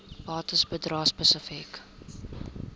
bates bedrae spesifiek